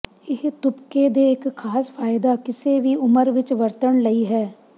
ਇਹ ਤੁਪਕੇ ਦੇ ਇੱਕ ਖਾਸ ਫਾਇਦਾ ਕਿਸੇ ਵੀ ਉਮਰ ਵਿਚ ਵਰਤਣ ਲਈ ਹੈ